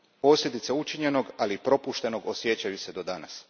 Posljedice učinjenog, ali i propuštenog osjećaju se do danas.